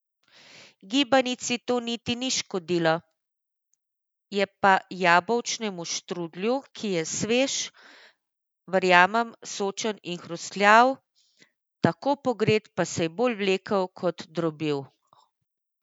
Gibanici to niti ni škodilo, je pa jabolčnemu štrudlju, ki je svež, verjamem, sočen in hrustljav, tako pogret pa se je bolj vlekel kot drobil.